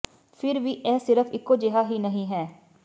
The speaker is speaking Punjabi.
ਫਿਰ ਵੀ ਇਹ ਸਿਰਫ ਇਕੋ ਜਿਹਾ ਹੀ ਨਹੀਂ ਹੈ